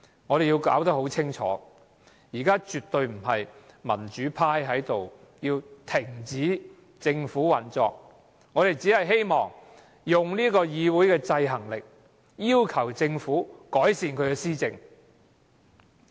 我們要弄清楚，現時絕對不是民主派在這裏要政府停止運作，我們只希望用議會制衡政府的權力，要求政府改善施政。